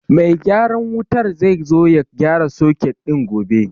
Mai gyaran wutar zai zo ya gyara soket ɗin gobe.